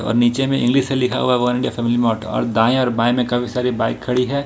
और नीचे में इंग्लिश से लिखा हुआ है वन मार्ट और दाएं और बाएं में काफी सारी बाइक खड़ी है।